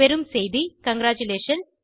பெறும் செய்தி காங்கிராட்டுலேஷன்ஸ்